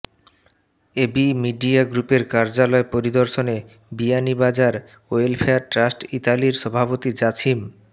AB media গ্রুপের কার্যালয় পরিদর্শনে বিয়ানীবাজার ওয়েলফেয়ার ট্রাস্ট ইতালির সভাপতি জাছিম